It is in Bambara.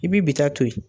I bi bi ta to ye